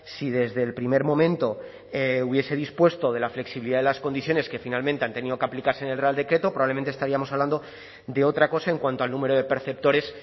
si desde el primer momento hubiese dispuesto de la flexibilidad de las condiciones que finalmente han tenido que aplicarse en el real decreto probablemente estaríamos hablando de otra cosa en cuanto al número de perceptores